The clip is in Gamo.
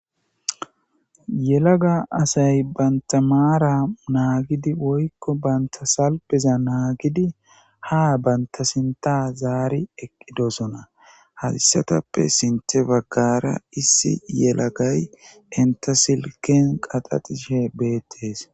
Yelaga asay banta maara naagidi woyko banta salpeza naagidi ha banta sinta zaari eqqidosona ha issitappe sintta baggaara issi yelagay eta silkiya denttashe bettees.